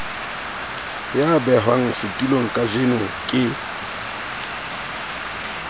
ya behwang setulong kajeno ke